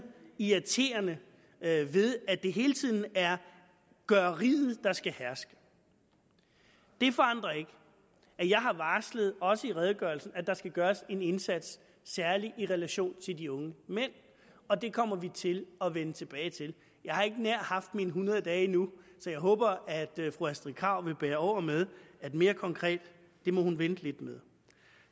irriterende ved at det hele tiden er gøreriet der skal herske det forandrer ikke at jeg har varslet også i redegørelsen at der skal gøres en indsats særlig i relation til de unge mænd og det kommer vi til at vende tilbage til jeg har ikke nær haft mine hundrede dage endnu så jeg håber at fru astrid krag vil bære over med at det mere konkrete må hun vente lidt med